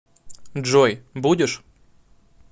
джой будешь